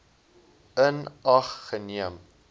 in ag geneem